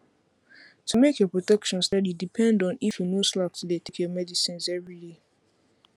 to make your protection steady depend on if you no slack to dey take your medicines everyday